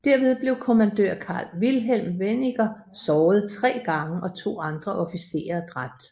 Derved blev Kommandør Carl Wilhelm Weniger såret tre gange og to andre officerer dræbt